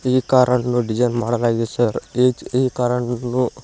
ಈ ಕಾರ್ ಅನ್ನು ಡಿಸೈನ್ ಮಾಡಲಾಗಿದೆ ಸರ್ ಈ ಕಾರ್ ಅನ್ನು.